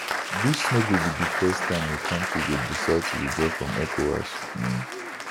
dis no be di first time a kontri go decide to withdraw from ecowas um